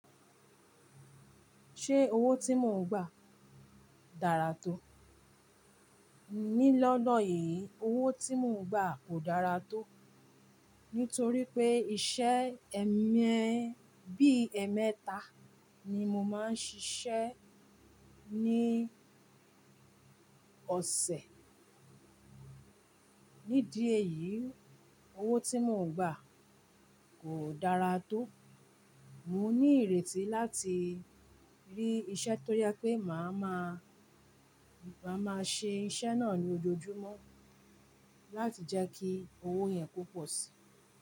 Ṣé owó tí mò ń gbà dára tó? Ní lọ́ọ́ lọ yìí, owó tí mò ń gbà kò dára tó, nítorí pé iṣẹ́ ẹ̀eme- bí ẹ̀emeta ni mo máa ń ṣiṣẹ́ ní ọ̀sẹ̀. Nídi èyí, owó tí mò ń gbà kò dára tó. Mò ní ìrètí láti rí iṣẹ́ to jẹ́ pé màá máa, màá máa ṣe iṣẹ́ náà ní ojoojúmọ́ láti jẹ́ kí owó yẹn kó pọ̀ sí.